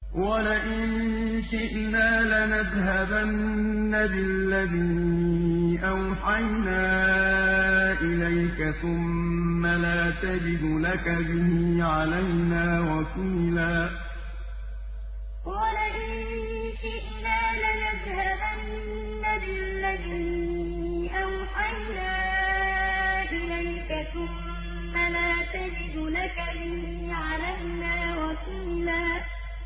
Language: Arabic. وَلَئِن شِئْنَا لَنَذْهَبَنَّ بِالَّذِي أَوْحَيْنَا إِلَيْكَ ثُمَّ لَا تَجِدُ لَكَ بِهِ عَلَيْنَا وَكِيلًا وَلَئِن شِئْنَا لَنَذْهَبَنَّ بِالَّذِي أَوْحَيْنَا إِلَيْكَ ثُمَّ لَا تَجِدُ لَكَ بِهِ عَلَيْنَا وَكِيلًا